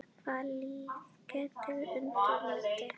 Hvaða lið geta unnið mótið?